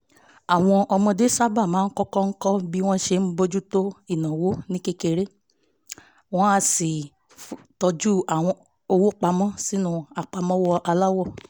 àwọn ọmọdé sábà máa ń kọ́kọ́ kọ́ bí wọ́n á ṣe bójú tó ìnáwó ní kékeré wọ́n á tọ́jú owó pa mọ́ sínú àpamọ́wọ́ aláwọ̀